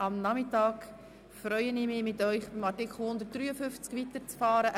Ich freue mich, heute Nachmittag mit Ihnen mit dem Artikel 153 weiterzufahren.